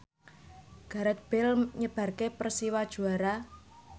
Gareth Bale nyebabke Persiwa juara